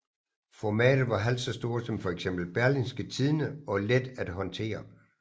Formatet var halvt så stort som fx Berlingske Tidende og let at håndtere